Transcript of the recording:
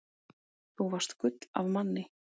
Þú varst gull af manni.